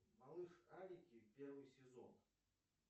малышарики первый сезон